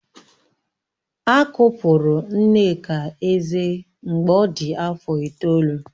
A kụpụrụ Nneka eze mgbe ọ dị afọ itoolu